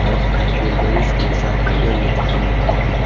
Ular Tirgovishte shahriga yetib keldi.